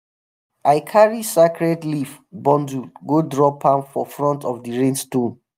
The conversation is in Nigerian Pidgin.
i carry sacred leaf bundle go drop am for front of the rain stone.